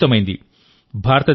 చాలా విస్తృతమైంది